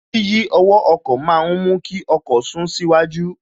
Yíyí ọwọ́ ọkọ̀ ma ń mú kí ọkọ̀ sún síwájú